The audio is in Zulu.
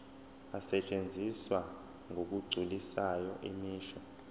asetshenziswa ngokugculisayo imisho